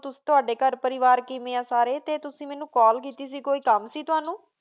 ਤਵਾਡੀ ਘਰ ਪਰਿਵਾਰ ਕੇਵ੍ਯਨ ਆਂ ਸਾਰੀ ਟੀ ਤੁਸੀਂ ਮੇਨੂ ਕਾਲ ਕੀਤੀ ਸੇ ਕੋਈ ਕਾਮ ਸੇ ਤ੍ਵਾਨੁ